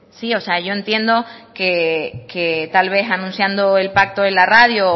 sí yo entiendo que tal vez anunciando el pacto en la radio